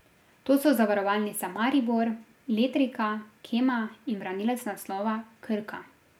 To so Zavarovalnica Maribor, Letrika, Kema in branilec naslova Krka.